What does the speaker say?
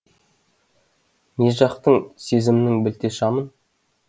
не жақтың сезімнің білте шамын